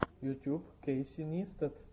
ютуб кейси нистат